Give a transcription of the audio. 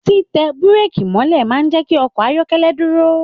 Titẹ bureki mọ̀lẹ́ máa n jẹ kí ọkọ ayọkẹlẹ dúró.